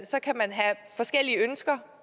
så kan man have forskellige ønsker